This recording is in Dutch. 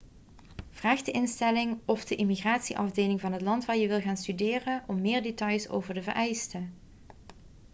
vraag de instelling of de immigratieafdeling van het land waar je wil gaan studeren om meer details over de vereisten